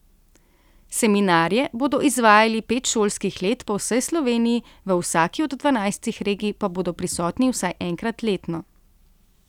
Seminarje bodo izvajali pet šolskih let po vsej Sloveniji, v vsaki od dvanajstih regij pa bodo prisotni vsaj enkrat letno.